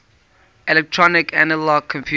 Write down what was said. electronic analog computers